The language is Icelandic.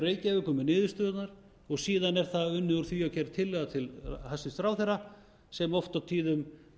reykjavíkur með niðurstöðurnar og síðan er unnið úr því og gerð tillaga til hæstvirts ráðherra sem oft á tíðum